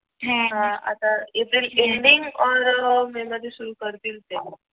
आता इथे April ending or May मध्ये सुरू करतील ते